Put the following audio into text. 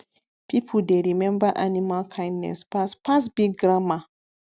people dey remember animal kindness pass pass big grammar